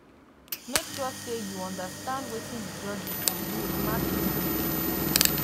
make sure say you umderstand wetin di judges go use mark you good